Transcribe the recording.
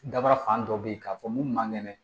Daba fan dɔ bɛ ye k'a fɔ mun man kɛnɛ